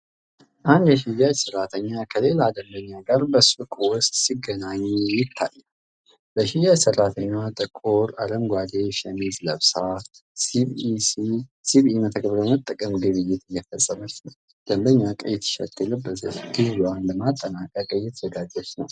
አንድ የሽያጭ ሰራተኛ ከሌላ ደንበኛ ጋር በሱቅ ውስጥ ሲገናኙ ይታያል። የሽያጭ ሰራተኛዋ ጥቁር አረንጓዴ ሸሚዝ ለብሳ ሲቢኢ መተግበሪያን በመጠቀም ግብይት እየፈጸመች ነው። ደንበኛዋ ቀይ ቲሸርት የለበሰች ግዢዋን ለማጠናቀቅ እየተዘጋጀች ነው።